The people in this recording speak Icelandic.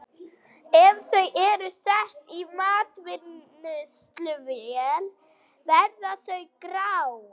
Ef þau eru sett í matvinnsluvél verða þau grá.